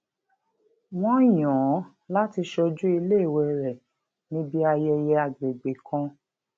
wọn yàn án láti ṣojú iléèwé rẹ níbi ayẹyẹ àgbègbè kan